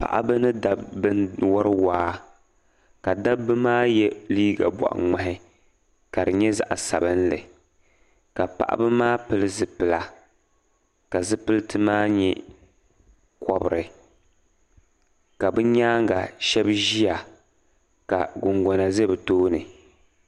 paɣ'ba mini dabba n wari waa ka dabba maa ye liiga bɔɣi ŋmahi ka di nyɛ zaɣ'sabinli ka paɣ'ba maa pili zupila ka zupiliti maa nyɛ kɔbiri ka be nyaaŋa shɛba ʒiya ka kunkuna ʒi bɛ tooni